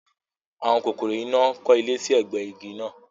Àwọn kòkòrò iná kọ́ ilé sí ẹ̀gbẹ igi náà